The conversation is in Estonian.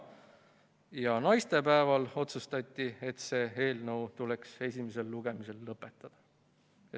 Ja naistepäeval otsustati, et selle eelnõu esimene lugemine tuleks lõpetada.